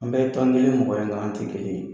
An bɛɛ bɛ taa mɔgɔ in na an tɛ kelen ye